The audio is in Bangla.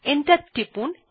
এন্টার টিপুন